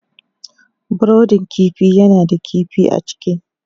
brudin kifi yana da kifi a ciki.